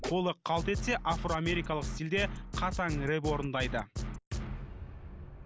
қолы қалт етсе афро америкалық стильде қатаң рэп орындайды